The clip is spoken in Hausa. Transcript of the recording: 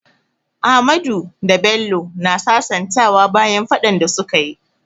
Ahmadu da Bello na sasantawa bayan faɗan da su ka yi.